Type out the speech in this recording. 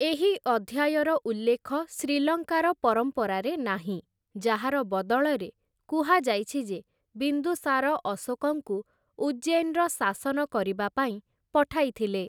ଏହି ଅଧ୍ୟାୟର ଉଲ୍ଲେଖ ଶ୍ରୀଲଙ୍କାର ପରମ୍ପରାରେ ନାହିଁ, ଯାହାର ବଦଳରେ କୁହାଯାଇଛି ଯେ ବିନ୍ଦୁସାର ଅଶୋକଙ୍କୁ ଉଜ୍ଜୈନ୍‌ର ଶାସନ କରିବା ପାଇଁ ପଠାଇଥିଲେ ।